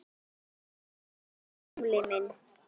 Hvíl í friði, gamli minn.